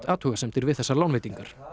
athugasemdir við þessar lánveitingar